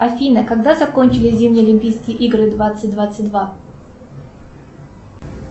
афина когда закончились зимние олимпийские игры двадцать двадцать два